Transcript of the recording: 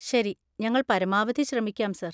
ശരി, ഞങ്ങൾ പരമാവധി ശ്രമിക്കാം സർ.